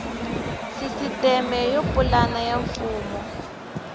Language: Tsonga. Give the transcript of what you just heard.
sisiteme yo pulana ya mfumo